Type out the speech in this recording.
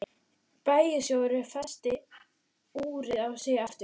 Bæjarstjórinn festi úrið á sig aftur.